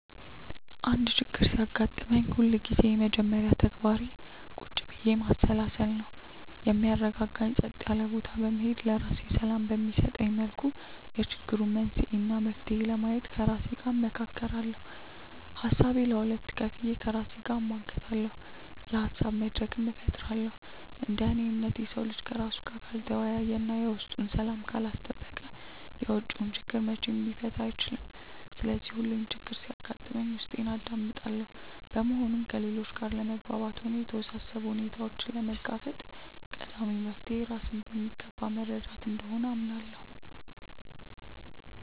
አንድ ችግር ሲያጋጥመኝ ሁልጊዜም የመጀመሪያ ተግባሬ ቁጭ ብዬ ማሰላሰል ነው። የሚያረጋጋኝ ጸጥ ያለ ቦታ በመሄድ፣ ለራሴ ሰላም በሚሰጠኝ መልኩ የችግሩን መንስኤ እና መፍትሄ ለማየት ከራሴ ጋር እመካከራለሁ። ሀሳቤን ለሁለት ከፍዬ ከራሴ ጋር እሟገታለሁ፤ የሀሳብ መድረክም እፈጥራለሁ። እንደ እኔ እምነት፣ የሰው ልጅ ከራሱ ጋር ካልተወያየ እና የውስጡን ሰላም ካላስጠበቀ የውጪውን ችግር መቼም ሊፈታ አይችልም። ስለዚህ ሁሌም ችግር ሲያጋጥመኝ ውስጤን አዳምጣለሁ። በመሆኑም ከሌሎች ጋር ለመግባባትም ሆነ የተወሳሰቡ ሁኔታዎችን ለመጋፈጥ ቀዳሚው መፍትሔ ራስን በሚገባ መረዳት እንደሆነ አምናለሁ።